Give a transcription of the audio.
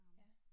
Ja